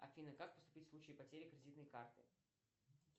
афина как поступить в случае потери кредитной карты